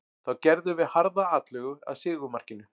Þá gerðum við harða atlögu að sigurmarkinu.